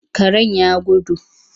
Karen ya gudu.